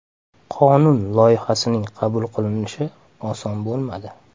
Qonun loyihasining qabul qilinishi oson bo‘lmadi.